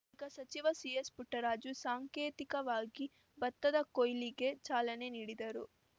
ಬಳಿಕ ಸಚಿವ ಸಿಎಸ್‌ಪುಟ್ಟರಾಜು ಸಾಂಕೇತಿಕವಾಗಿ ಭತ್ತದ ಕೊಯ್ಲಿಗೆ ಚಾಲನೆ ನೀಡಿದರು